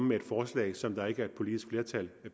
med et forslag som der ikke er et politisk flertal